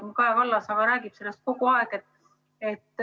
Aga Kaja Kallas räägib sellest kogu aeg.